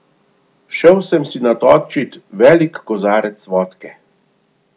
Šel sem si natočit velik kozarec vodke.